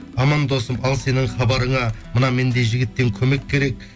аман досым ал сенің хабарыңа мына мендей жігіттен көмек керек